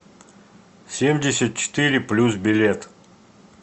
семьдесят четыре плюс билет